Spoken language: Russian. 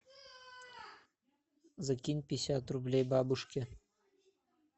закинь пятьдесят рублей бабушке